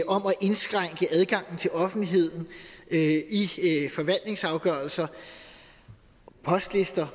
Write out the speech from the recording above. om at indskrænke adgangen til offentligheden i forvaltningsafgørelser postlister